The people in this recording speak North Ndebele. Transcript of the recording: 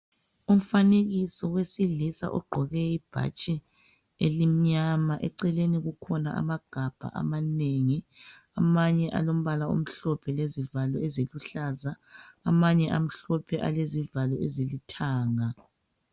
Umfanekiso wesilisa ogqqoke ibhatshi elimnyama eceleni kwakhe kukhona amagabha amanengi amanye alombala omhlophe lezivalo eziluhlaza amanye amhlophe alezivalo ezilithanga.